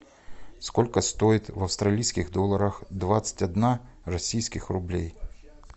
сколько стоит в австралийских долларах двадцать одна российских рублей